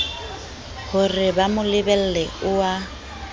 horeba mo lebelle o a